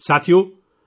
ساتھیو ،